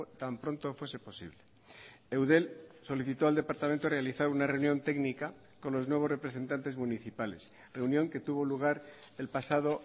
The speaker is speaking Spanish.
tan pronto fuese posible eudel solicitó al departamento realizar una reunión técnica con los nuevos representantes municipales reunión que tuvo lugar el pasado